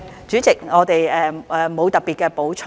主席，我們沒有特別補充。